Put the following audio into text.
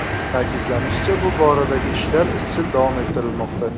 Ta’kidlanishicha, bu boradagi ishlar izchil davom ettirilmoqda.